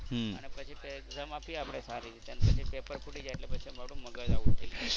અને પછી exam આપી આપડે સારી રીતે અને પછી પેપર ફૂટી જાય એટલે આપડું મગજ .